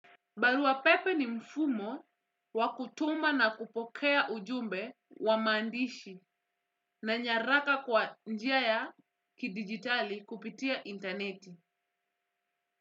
Barua pepe ni mfumo wa kutuma na kupokea ujumbe wa maandishi na nyaraka kwa njia ya kidigitali kupitia intaneti.